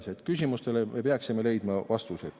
Me peaksime küsimustele leidma vastused.